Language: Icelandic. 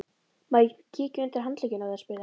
Má ég kíkja undir handlegginn á þér? spurði hann.